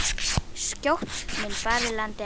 Skjótt mun farið landi ná.